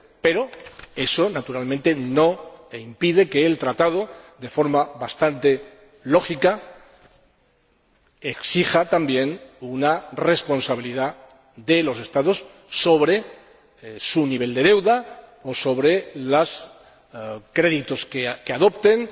Pero eso, naturalmente, no impide que el Tratado, de forma bastante lógica, exija también una responsabilidad de los Estados sobre su nivel de deuda o sobre los créditos que adopten.